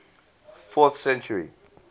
fourth century